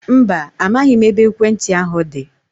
Mba, amaghị m ebe ekwentị ahu dị